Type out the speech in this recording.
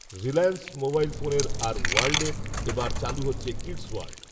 Reliance mobile ফোনের আর ওয়ার্ল্ডএ এ বার চালু হচ্ছে কিডস্ওয়ার্ল্ড